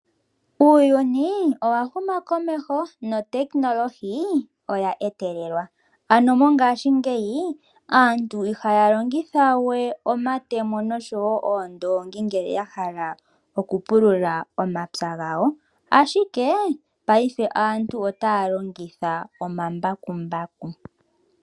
Uuyuni owa huma komeho notekinolohi, oya etelelwa. Ano mongashingeyi aantu iha ya longitha we omayemo osho woo oondongi ngele ya hala oku pulula omapya gawo, ashike paife aantu ota ya longitha omambakumbaku.